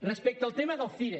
respecte al tema del cire